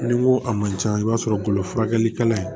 N'i ko a ma can i b'a sɔrɔ golo furakɛlikɛla in